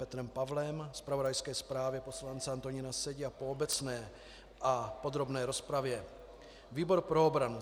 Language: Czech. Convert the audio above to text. Petrem Pavlem, zpravodajské zprávě poslance Antonína Sedi a po obecné a podrobné rozpravě výbor pro obranu